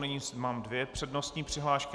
Nyní mám dvě přednostní přihlášky.